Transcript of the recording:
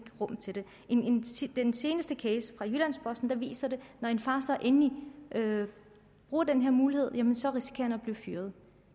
rum til det den seneste case fra jyllands posten viser at når en far så endelig bruger den her mulighed så risikerer han at blive fyret